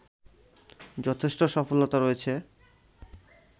যথেষ্ট সফলতা রয়েছে